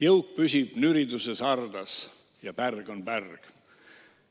Jõuk püsib nüriduses hardas ja pärg on pärg.